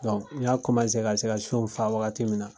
n y'a ka se ka sɔn fa wagati min na